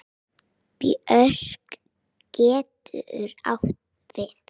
Björk getur átt við